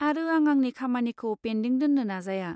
आरो आं आंनि खामानिखौ पेन्दिं दोन्नो नाजाया।